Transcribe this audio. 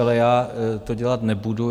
Ale já to dělat nebudu.